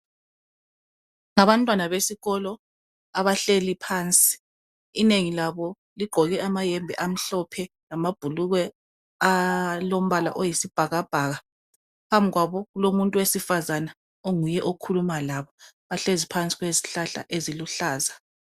Ngabantwana besikolo abahleli phansi inengi labo ligqoke amayembe amhlophe lamabhulugwe alombala oyisibhakabhaka phambi kwabo kulomuntu wesifazana onguye okhuluma labo bahlezi phansi kwezihlahla eziluhlaza.